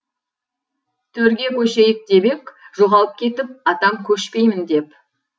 төрге көшейік деп ек жоғалып кетіп атам көшпеймін деп